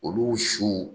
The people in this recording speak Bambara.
Olu su